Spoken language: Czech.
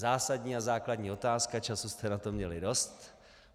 Zásadní a základní otázka, času jste na to měli dost.